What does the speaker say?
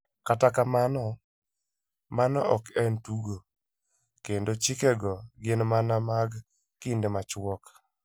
Kata kamano, mano ok en tugo, kendo 'chikego' gin mana mag kinde machuok.